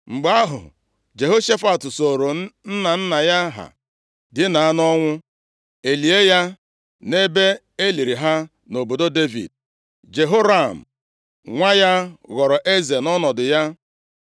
Mgbe ahụ, Jehoshafat sooro nna nna ya ha dina nʼọnwụ, e lie ya nʼebe e liri ha nʼobodo Devid. Jehoram nwa ya ghọrọ eze nʼọnọdụ ya.